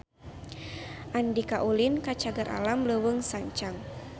Andika ulin ka Cagar Alam Leuweung Sancang